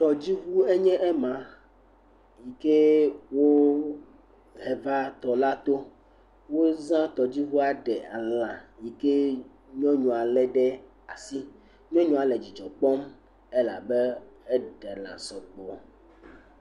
Tɔdziŋu enye ma yi ke wova tɔ la to. Wozã tɔdziŋua ɖe lã yi ke nyɔnua lé ɖe asi. Nyɔnua le dzidzɔ kpɔm elabe eɖe lã sɔgbɔ.